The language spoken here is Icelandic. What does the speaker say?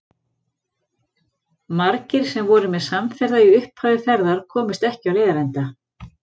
Margir sem voru mér samferða í upphafi ferðar komust ekki á leiðarenda.